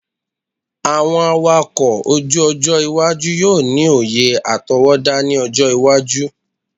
Awọn awakọ oju-ojo iwaju yoo ni oye atọwọda ni ọjọ iwaju